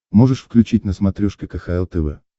можешь включить на смотрешке кхл тв